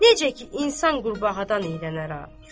necə ki insan qurbağadan iyrənər a.